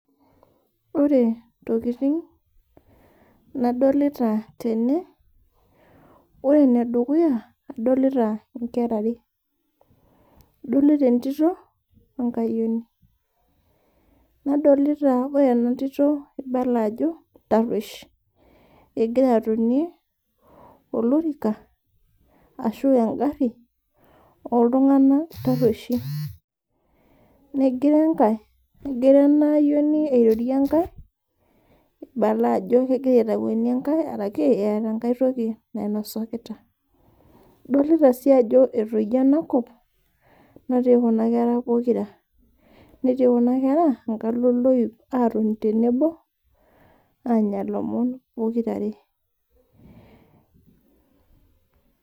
Ore ntokiting nadolita tene, ore ene dukuya adolita nkera are, adolita entito wenkayioni. Nadolita ore ena tito itarwesh, egira atonie olorika ashu engari oltunganak tarweshi, negira ena ayioni airorie enkae idol ajo engira aitakweni enkae ashu eeta aitoki nainosakita .Dolita sii ajo etayio enakop natii Kuna kera pokira, netii Kuna kera enkalo oloip atoni tenebo aanya lomon pokiraare.